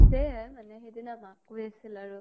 হৈছে মানে সিদিনা মাক কৈ আছিল আৰু